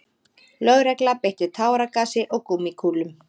Lögregla beitti táragasi og gúmmíkúlum